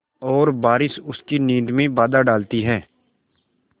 और बारिश उसकी नींद में बाधा डालती है